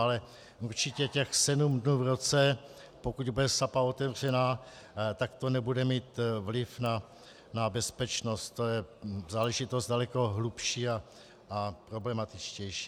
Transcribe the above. Ale určitě těch sedm dnů v roce, pokud bude Sapa otevřená, tak to nebude mít vliv na bezpečnost, to je záležitost daleko hlubší a problematičtější.